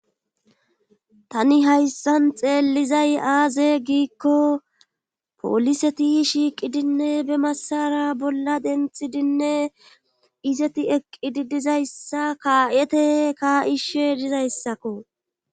tani hayssan xeellizay aaze giikko pooliseti shiiqidinne be masara bolla denxidinne izeti eqqidi dizayssa kaa7ete kaa7ishe dizayssakko